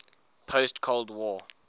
post cold war